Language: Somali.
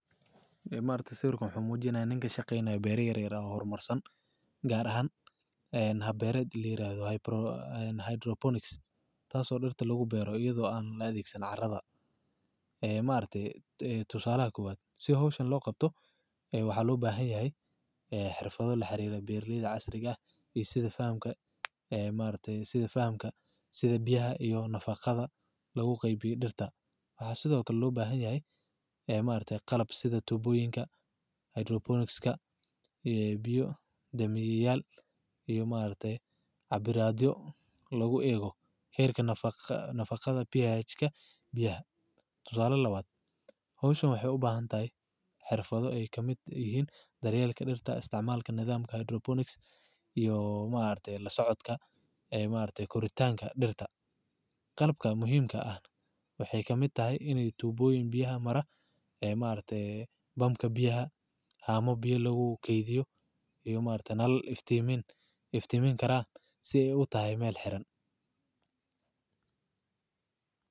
Markatah siwirkan wuxu muu jirayoh ninka shaqayanayoh oo baralayda bara yar oo hormar saan kaar ahan hab baarad oo layirdoh highbornise . taas oo dirtsa lagu baro ayado ah mal loo adagsaso carada marktah tuusalah koowad sii hosha loo qabtoh waxaa loo bahanyahay. xirfada laa xiriroh baralayda caarika oo sida faxanka aa marka sida biyahay nafaqasa lagu qabiyoh dirta waxaa sida oo kle loo baxanyahay aa markta qalab sida tuboyinka highdirobornise . kaa iyo biyo damiya yaal iyo marktah cabiradyo lagu ago harka nafadaqada bh kaa biyaha tusala lawaad hosha waxay ubahantahay xirfado ay kaa mid yihin daryalka dirta isticmalka nadamka highdirbrone . ka iyo markta laa socodka aa markta gooritanka. dirta qalabka muhiim kaa waxay ka mid tahay ina tuboyihin biyo maro aa markta baamka biyaha hamo biyaa logu gadiyo iyo nalal iftimin. karan sii ay uu tahay mal xiran.